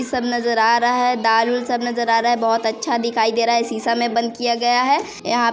सब नजर आ रहा है दाल ऊल सब नजर आ रहा है बहुत अच्छा दिखाई दे रहा है सीसा में बंद किया गया है यहाँ--